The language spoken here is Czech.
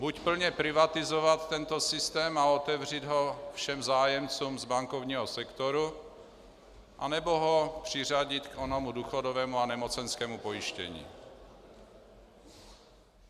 Buď plně privatizovat tento systém a otevřít ho všem zájemcům z bankovního sektoru, anebo ho přiřadit k onomu důchodovému a nemocenskému pojištění.